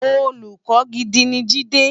Ólùkò gidi ni Jide